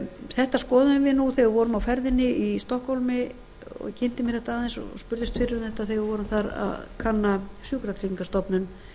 þetta skoðuðum við þegar við vorum á ferðinni í stokkhólmi ég kynnti mér þetta aðeins og spurðist fyrir um þetta þegar við vorum þar að kanna sjúkratryggingastofnun